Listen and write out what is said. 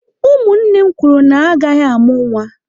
Ụmụnne m kwuru na ha agaghị amụ nwa.